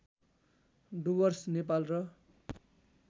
डुवर्स नेपाल र